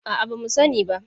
A'a, ba mu sani ba.